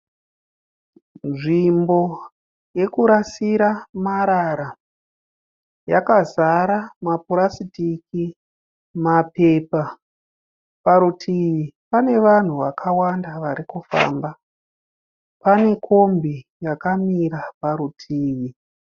Nzvimbo yekurasira marara. Yakazara mapurasitiki mapepa. Parutivi pane vanhu vakawanda vari kufamba. Pane kombi yakamira parutivi.